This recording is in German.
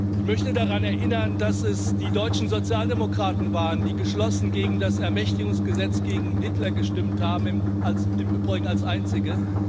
Ich möchte daran erinnern, dass es die deutschen Sozialdemokraten waren, die geschlossen gegen das Ermächtigungsgesetz, gegen Hitler gestimmt haben im Übrigen als einzige